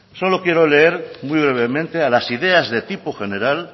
solo quiero leer muy brevemente a las ideas de tipo general